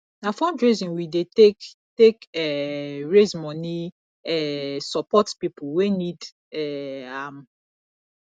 na fundraising we dey take take um raise moni um support pipo wey need um am